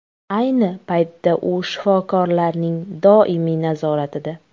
Ayni paytda u shifokorlarning doimiy nazoratida.